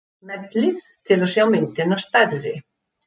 Smellið til að sjá myndina stærri.